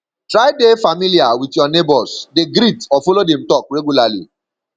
try de familiar with your neighbors de greet or follow dem talk regularly